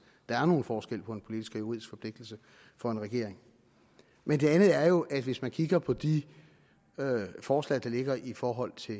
der er en forskel på en politisk og en juridisk forpligtelse for en regering men det andet er jo at hvis man kigger på de forslag der ligger i forhold til